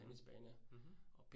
Mh, mh